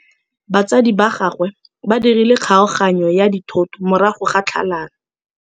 Batsadi ba gagwe ba dirile kgaoganyô ya dithoto morago ga tlhalanô.